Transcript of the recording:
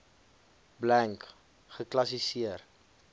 blank geklassi seer